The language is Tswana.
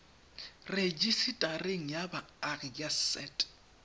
rejisetareng ya baagi ya set